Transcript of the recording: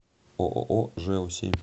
ооо жэу семь